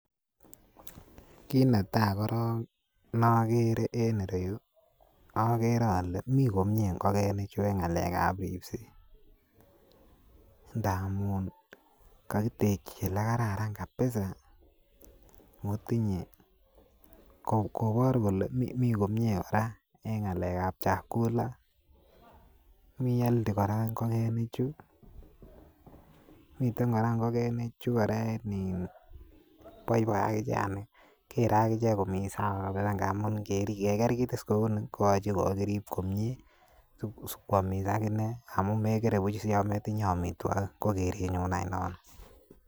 Kiit netai koron nagere en ireu agere ale mii komie ngokenikchu en ngalek ab ripset ndamunkakitekyi olekararan kabisa koker kora kolemi komie en ngalek ab amitwakik mihelti kora ingogenik chu miten kora komie ingogenikchu kobaibai ago kere akichek komii sawakora ngamun ingeker kiit kora kouni ak kerib kora komie kwamis akine amun megere buch komatindoi amitwakik ko kerenyun any nono.